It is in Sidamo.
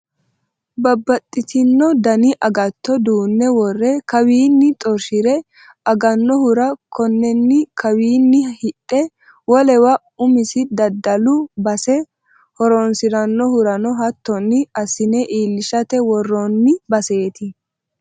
Babbaxxitino dani agatto duune wore kawinni xorshire aganohura konenni kawini hidhe wolewa umisi daddalu base horonsiranohurano hattonni assine iillishate worooni baseti.